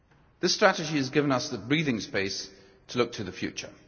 This strategy has given us the breathing space to look to the future.